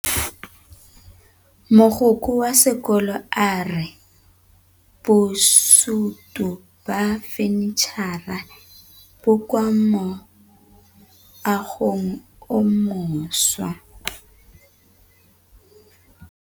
Mogokgo wa sekolo a re bosutô ba fanitšhara bo kwa moagong o mošwa.